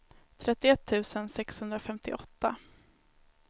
trettioett tusen sexhundrafemtioåtta